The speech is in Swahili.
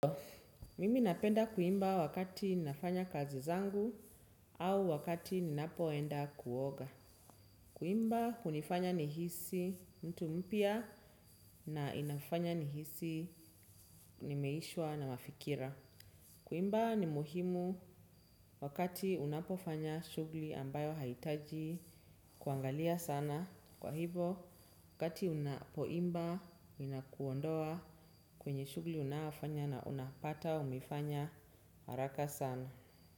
Mimi napenda kuimba wakati ninafanya kazi zangu au wakati ninapoenda kuoga. Kuimba unifanya nihisi mtu mpya na inafanya nihisi nimeishwa na mafikira. Kuimba ni muhimu wakati unapofanya shughli ambayo haitaji kuangalia sana. Kwa hivo, wakati unapoimba, inakuondoa kwenye shughli unayofanya na unapata, umefanya. Haraka sana.